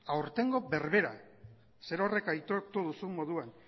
aurtengo berbera zerorrek aitortu duzun moduan